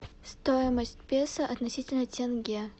стоимость песо относительно тенге